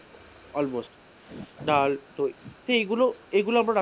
almost ডাল তো এইগুলো, এইগুলো আমরা,